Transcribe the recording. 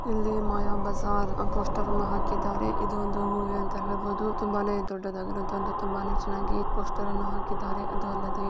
ಇಲ್ಲಿ ಮಾಯಾ ಬಜಾರ್ ಆ ಪೋಸ್ಟರ್ ಅನ್ನ ಹಾಕಿದ್ದಾರೆ. ಇದು ಒಂದು ಮೂವಿ ಅಂತಾ ಹೇಳಬಹುದು. ತುಂಬಾನೇ ದೊಡ್ಡದಾಗಿರುವಂತ ಒಂದು ತುಂಬಾನೇ ಚೆನ್ನಾಗಿ ಪೋಸ್ಟರ್ ಅನ್ನ ಹಾಕಿದ್ದಾರೆ. ಅದು ಅಲ್ಲದೆ --